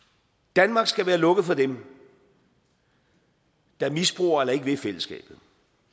danmark skal være lukket for dem der misbruger eller ikke vil fællesskabet